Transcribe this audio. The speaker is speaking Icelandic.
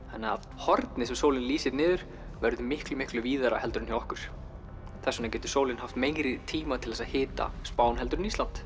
hornið sem sólin lýsir niður verður miklu miklu víðara heldur en hjá okkur þess vegna getur sólin haft meiri tíma til þess að hita Spán heldur en Ísland